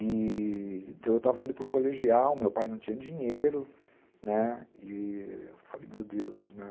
E... Então, eu estava indo para o colegial, meu pai não tinha dinheiro, né, e eu falei, meu Deus, né?